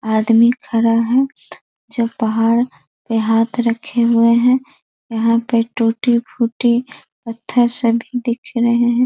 आदमी खड़ा है जो पहाड़ पे हाथ रखे हुए हैं यहाँ पे टूटी-फूटी पत्थर से भी दिख रहे हैं।